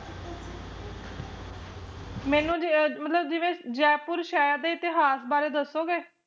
ਮੈਨੂੰ ਜ ਮਤਲਬ ਜਿਵੇ ਜੈਪੁਰ ਸ਼ਹਿਰ ਦੇ ਇਤਿਹਾਸ ਬਾਰੇ ਦਸੋਗੇ